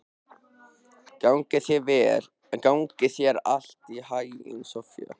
Gangi þér allt í haginn, Soffía.